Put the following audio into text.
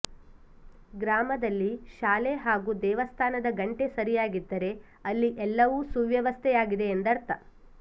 ಗ್ರಾಮದಲ್ಲಿ ಶಾಲೆ ಹಾಗೂ ದೇವಸ್ಥಾನದ ಘಂಟೆ ಸರಿಯಾಗಿದ್ದರೆ ಅಲ್ಲಿ ಎಲ್ಲವೂ ಸುವ್ಯವಸ್ಥೆಯಾಗಿದೆ ಎಂದರ್ಥ